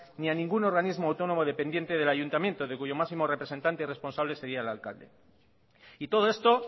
ni a ningún organismo autónomo dependiente del ayuntamiento de cuyo máximo representante y responsable sería el alcalde y todo esto